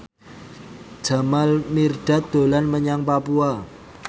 Jamal Mirdad dolan menyang Papua